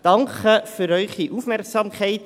Danke für Ihre Aufmerksamkeit.